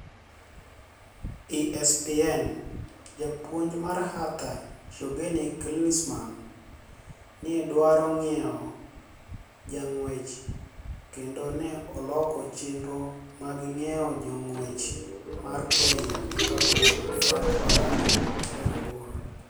(ESPni) Japuonij mar Hertha, Jurgeni Klinismanini, ni e dwaro nig'iewo janig'wech, kenido ni e oloko cheniro mag nig'iewo janig'wech mar Keniya gi Totteniham, Franick Ballack, 28.